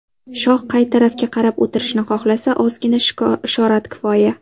Shoh qay tarafga qarab o‘tirishni xohlasa, ozgina ishorat kifoya.